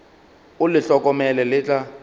o le hlokomele le tla